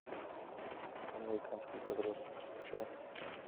американские подростки включай